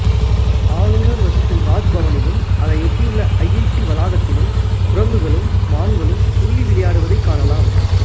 ஆளுனர் வசிக்கும் ராஜ் பவனிலும் அதை ஒட்டியுள்ள ஐ ஐ டி வளாகத்திலும் குரங்குகளும் மான்களும் துள்ளி விளையாடுவதைக் காணலாம்